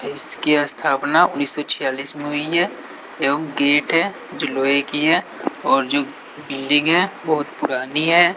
इसकी स्थापना उन्नीस सौ छियालिस में हुई है एवं गेट है जो लोहे की है और जो बिल्डिंग है बहोत पुरानी है।